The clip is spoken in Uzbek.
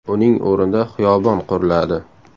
Uning o‘rnida xiyobon quriladi.